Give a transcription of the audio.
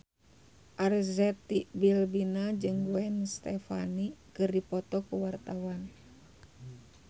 Arzetti Bilbina jeung Gwen Stefani keur dipoto ku wartawan